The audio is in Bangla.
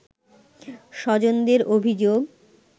স্বজনদের অভিযোগ